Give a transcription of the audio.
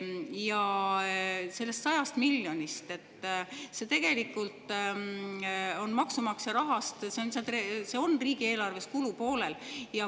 Ja sellest 100 miljonist: see on tegelikult maksumaksja raha, see on riigieelarves kulupoolel.